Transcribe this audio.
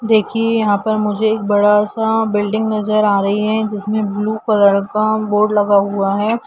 देखए यहाँ पर मुझे एक बडासा बिल्डिंग नज़र आ रही है उसमे ब्लू कलर का बोर्ड लगा हुआ है।